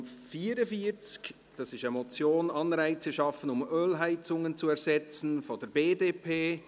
Es handelt sich um die Motion «Anreize schaffen, um Ölheizungen zu ersetzen» von der BDP.